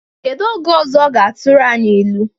Kedu oge ọzọ ọ ga-atụrụ anyị ilu?